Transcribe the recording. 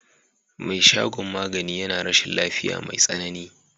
Me shagon magani yana rashin lafiya mai tsanani.